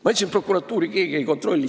Ma ütlesin, et prokuratuuri keegi ei kontrolli.